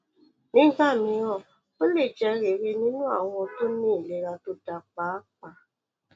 nígbà mìíràn ó lè jẹ rere nínú àwọn tó ní ìlera tó dáa pàápàá